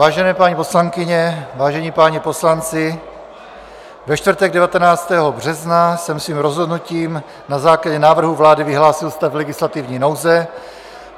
Vážené paní poslankyně, vážení páni poslanci, ve čtvrtek 19. března jsem svým rozhodnutím na základě návrhu vlády vyhlásil stav legislativní nouze.